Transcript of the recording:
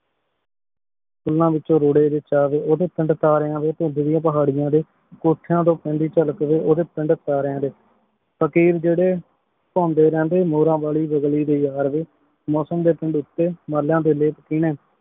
ਕਿਨਾਂ ਵਿਚੋਂ ਰੋਰੀ ਵਿਚ ਅਗੇ ਓਡੀ ਪਿੰਡ ਤਾਰੀਆਂ ਦੇ ਕੁੰਦ੍ਲਿਯਾਂ ਪਹਰ੍ਯਾਂ ਦੇ ਕੋਥਾਯਨ ਤੋਂ ਪੇਂਦੀ ਚਾਲਕ ਵੀ ਓਡੀ ਪਿੰਡ ਤਾਰੀਆਂ ਦੇ ਫ਼ਕੀਰ ਜੇਰੀ ਆਉਂਦੀ ਰਹ ਡੀ ਮੋਰਾਂ ਵਾਲੀ ਵਾਗਲੀ ਦੇ ਯਾਰ ਵੀ ਮੋਸਮ ਦੇ ਕੋੰਦੌਕ ਤੇ ਮਾਲ੍ਯਾਂ ਦੇ